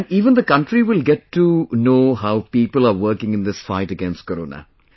And even the country will get to know how people are working in this fight against Corona